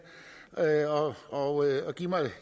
og give mig